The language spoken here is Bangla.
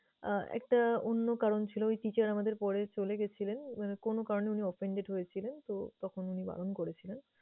আহ একটা অন্য কারণ ছিল। ওই teacher আমাদের পরে চলে গেছিলেন। উনারা কোনো কারণে উনি offended হয়েছিলেন, তো তখন উনি বারণ করেছিলেন।